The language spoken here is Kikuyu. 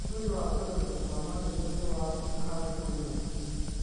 ũhũthĩri wa tũrembeko twa maniũrũ nĩ twa bata harĩ kĩng'ũki